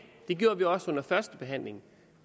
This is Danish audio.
det gjorde vi også under førstebehandlingen